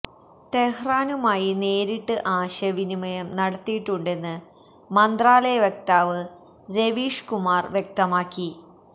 ടെഹ്റാനുമായി നേരിട്ട് ആശയവിനിമയം നടത്തിയിട്ടുണ്ടെന്ന് മന്ത്രാലയ വക്താവ് രവീഷ് കുമാര് വ്യക്തമാക്കി